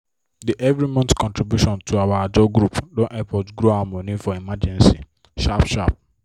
the every month contribution to our ajo group don help us grow our money for emergency sharp sharp